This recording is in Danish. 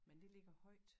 Men det ligger højt